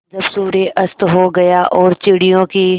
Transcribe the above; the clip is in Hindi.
जब सूर्य अस्त हो गया और चिड़ियों की